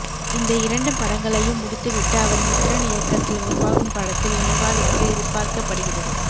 இந்த இரண்டு படங்களையும் முடித்துவிட்டு அவர் மித்ரன் இயக்கத்தில் உருவாகும் படத்தில் இணைவார் என்று எதிர்பார்க்கப்படுகிறது